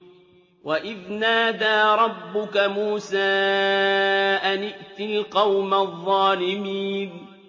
وَإِذْ نَادَىٰ رَبُّكَ مُوسَىٰ أَنِ ائْتِ الْقَوْمَ الظَّالِمِينَ